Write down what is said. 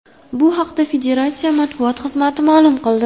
Bu haqda federatsiya matbuot xizmati ma’lum qildi .